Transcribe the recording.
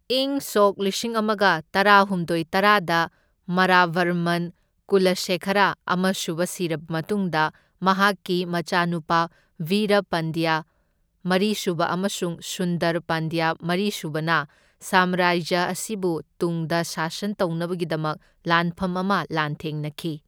ꯢꯪ ꯁꯣꯛ ꯂꯤꯁꯤꯡ ꯑꯃꯒ ꯇꯔꯥꯍꯨꯝꯗꯣꯢ ꯇꯔꯥꯗ ꯃꯔꯥꯚꯔꯃꯟ ꯀꯨꯂꯁꯦꯈꯔꯥ ꯑꯃꯁꯨꯕ ꯁꯤꯔꯕ ꯃꯇꯨꯡꯗ ꯃꯍꯥꯛꯀꯤ ꯃꯆꯥꯅꯨꯄꯥ ꯚꯤꯔꯥ ꯄꯥꯟꯗ꯭ꯌꯥ ꯃꯔꯤꯁꯨꯕ ꯑꯃꯁꯨꯡ ꯁꯨꯟꯗꯔ ꯄꯥꯟꯗ꯭ꯌꯥ ꯃꯔꯤꯁꯨꯕꯅ ꯁꯥꯝꯔꯥꯖ꯭ꯌ ꯑꯁꯤꯕꯨ ꯇꯨꯡꯗ ꯁꯥꯁꯟ ꯇꯧꯅꯕꯒꯤꯗꯃꯛ ꯂꯥꯟꯐꯝ ꯑꯃ ꯂꯥꯟꯊꯦꯡꯅꯈꯤ꯫